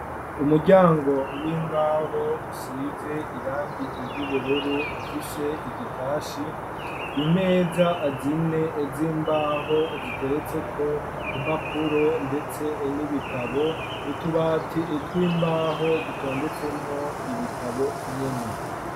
Umuryango w'imbaho usize irangie iry'ubururu ufise igitashi impeza azine ezo imbaho ziteretseko impapuro, ndetse n'ibitabo utubati etwa imbaho dutondetsemwo ibitabo nyene.